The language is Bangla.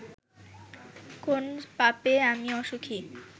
কোন পাপে আমি অসুখী